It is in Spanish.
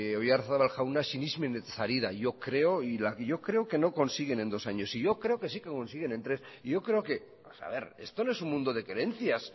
oyarzabal jauna sinesmenetaz ari yo creo que no consiguen en dos años y yo creo que si que consiguen en tres y yo creo que a ver esto no es un mundo de creencias